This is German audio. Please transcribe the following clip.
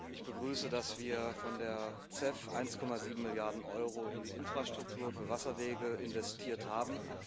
Ich begrüße, dass wir von der CEF 1,7 Milliarden Euro in die Infrastruktur für Wasserwege investiert haben.